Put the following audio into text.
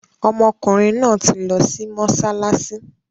Ọmọkùnrin náà ti lọ sí mọ́ṣáláṣí